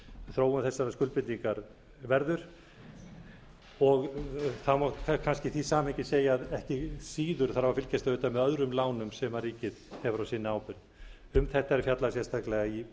þróun þessarar skuldbindingar verður það má kannski í því samhengi segja að ekki síður þarf að fylgjast auðvitað með öðrum lánum sem ríkið hefur á sinni ábyrgð um þetta er fjallað sérstaklega í